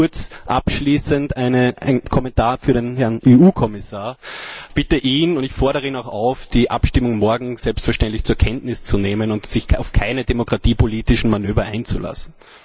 Vielleicht noch kurz abschließend ein Kommentar für den Herrn Kommissar Ich bitte ihn und ich fordere ihn auch auf, die Abstimmung morgen selbstverständlich zur Kenntnis zu nehmen und sich auf keine demokratiepolitischen Manöver einzulassen!